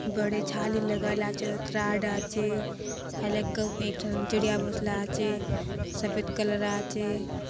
बड़े छाली लगल आचे ओत्राड आचे हइलक एक ठन चिड़िया घोसला आचे सफेद कलर आचे।